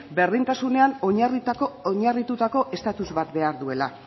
berdintasunean oinarritutako estatus bat behar duela